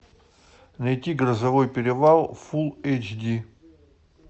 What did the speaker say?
найти грозовой перевал фулл эйч ди